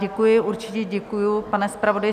Děkuji, určitě děkuju, pane zpravodaji.